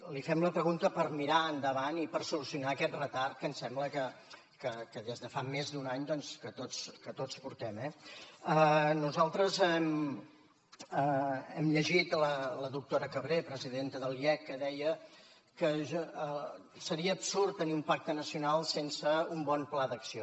li fem la pregunta per mirar endavant i per solucionar aquest retard que ens sembla que des de fa més d’un any tots portem eh nosaltres hem llegit la doctora cabré presidenta de l’iec que deia que seria absurd tenir un pacte nacional sense un bon pla d’acció